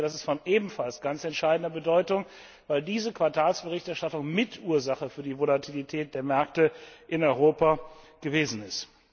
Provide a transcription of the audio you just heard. Ich denke, das ist von ebenfalls ganz entscheidender Bedeutung, weil diese Quartalsberichterstattung Mitursache für die Volatilität der Märkte in Europa gewesen ist.